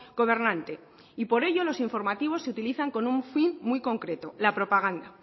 gobernante y por ello los informativos se utilizan con un fin muy concreto la propaganda